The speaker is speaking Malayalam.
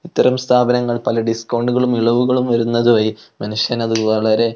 ഇത്തരം സ്ഥാപനങ്ങൾ പല ഡിസ്കൗണ്ടുകളും ഇളവുകളും വരുന്നത് വയി മനുഷ്യന് അത് വളരെ--